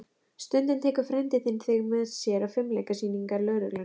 Stundum tekur frændi þinn þig með sér á fimleikasýningar lögreglunnar.